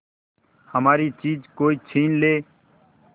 हमारी चीज कोई छीन ले